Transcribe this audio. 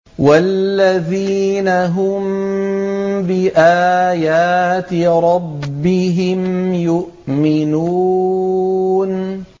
وَالَّذِينَ هُم بِآيَاتِ رَبِّهِمْ يُؤْمِنُونَ